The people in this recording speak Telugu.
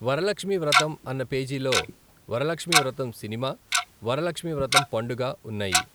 వరలక్ష్మీ వ్రతం అన్న పేజీలో వరలక్ష్మీ వ్రతం సినిమా వరలక్ష్మీ వ్రతం పండుగ ఉన్నాయి.